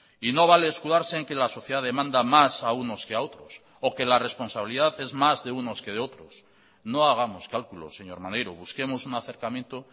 y no vale escudarse en que la sociedad demanda más a unos que a otros o que la responsabilidad es más de unos que de otros no hagamos cálculos señor maneiro busquemos un acercamiento